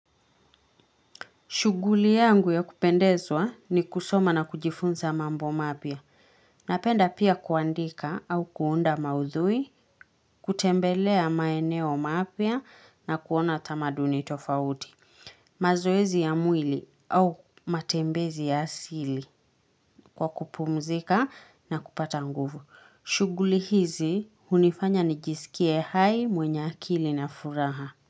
Shughuli yangu ya kupendezwa ni kusoma na kujifunza mambo mapya. Napenda pia kuandika au kuunda maudhui, kutembelea maeneo mapya na kuona tamaduni tofauti. Mazoezi ya mwili au matembezi ya asili kwa kupumzika na kupata nguvu. Shuguli hizi hunifanya nijisikie hai mwenye akili na furaha.